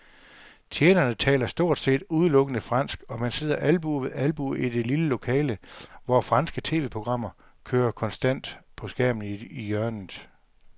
Tjenerne taler stort set udelukkende fransk, og man sidder albue ved albue i det lille lokale, hvor franske tv-programmer kører konstant på skærmen i hjørnet.